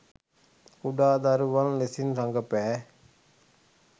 කුඩා දරුවන් ලෙසින් රඟපෑ